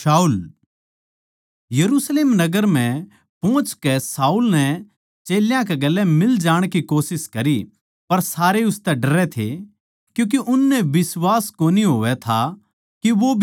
यरुशलेम नगर म्ह पोहचकै शाऊल नै चेल्यां कै गेल्या मिल जाण की कोशिश करी पर सारे उसतै डरै थे क्यूँके उननै बिश्वास कोनी होवै था के वो भी चेल्ला सै